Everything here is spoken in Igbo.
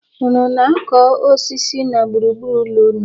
Unu na-akụ osisi na gburugburu ụlọ unu.